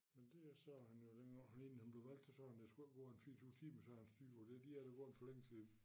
Men det er sådan jo dengang han egentlig han blev valgt der sagde han der skulle ikke gå en 24 timer så havde han styr på det de er da gået for længe siden